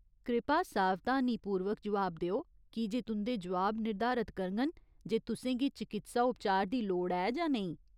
कृपा सावधानीपूर्वक जवाब देओ, कीजे तुं'दे जवाब निर्धारित करङन जे तुसें गी चकित्सा उपचार दी लोड़ ऐ जां नेईं।